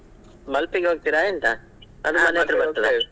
Malpe ಗೆ ಹೋಗ್ತೀರಾ ಎಂತ ?